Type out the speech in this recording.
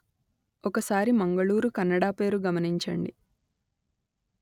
ఒకసారి మంగళూరు కన్నడ పేరు గమనించండి